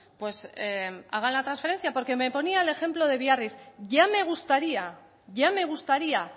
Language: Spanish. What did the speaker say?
pues hagan la transferencia porque me ponía el ejemplo de biarritz ya me gustaría ya me gustaría